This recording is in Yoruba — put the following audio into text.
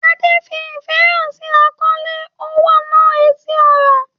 Ade fi ìfẹ́ hàn sí àkọlé Onwa-na-etili-ora.